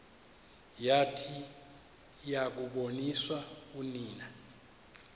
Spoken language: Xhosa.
yathi yakuboniswa unina